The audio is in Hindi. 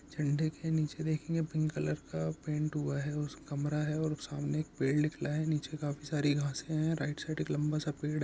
झंडे के नीचे देखेंगे पिंक कलर का पेंट हुआ है कमरा है और सामने पेड़ निकला है नीचे काफी सारी घासे हैं राइट साइड एक लंबा-सा पेड़--